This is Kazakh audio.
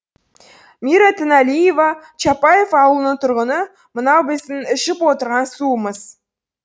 мира тінәлиева чапаев ауылыны тұрғыны мынау біздің ішіп отырған суымыз